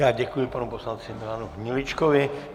Já děkuji panu poslanci Milanu Hniličkovi.